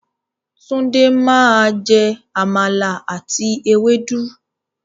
Tunde máa jẹ Àmàlà àti ewédú.